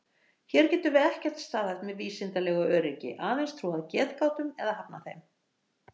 Hér getum við ekkert staðhæft með vísindalegu öryggi, aðeins trúað getgátum eða hafnað þeim.